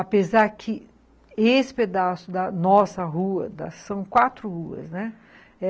Apesar que esse pedaço da nossa rua, são quatro ruas, né?